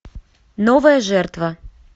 новая жертва